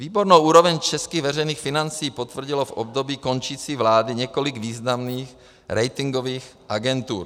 Výbornou úroveň českých veřejných financí potvrdilo v období končící vlády několik významných ratingových agentur.